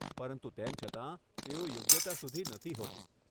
પરંતુ તેમ છતાં, તેઓ યોગ્યતા સુધી નથી હોતી.